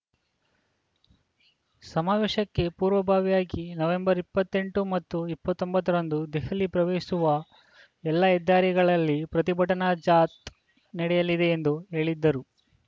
ಸಮಾವೇಶಕ್ಕೆ ಪೂರ್ವಭಾವಿಯಾಗಿ ನವೆಂಬರ್ ಇಪ್ಪತ್ತೆಂಟು ಮತ್ತು ಇಪ್ಪತ್ತ್ ಒಂಬತ್ತರಂದು ದೆಹಲಿ ಪ್ರವೇಶಿಸುವ ಎಲ್ಲಾ ಹೆದ್ದಾರಿಗಳಲ್ಲಿ ಪ್ರತಿಭಟನಾ ಜಾಥ್ ನಡೆಯಲಿದೆ ಎಂದು ಹೇಳಿದರು